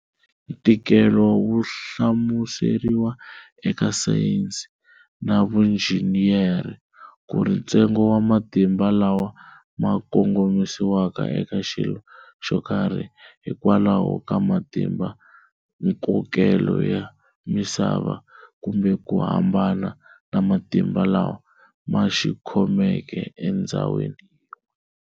Ntikelo wu hlamuseriwa eka sayensi na vunjhiniyera kuri ntsengo wa matimba lawa ma kongomisiwaka eka xilo xokarhi, hi kwalaho ka ma timbankokelo ya misava, kumbe ku hambana na matimba lawa ma xikhomeke e ndzhawini yin'we.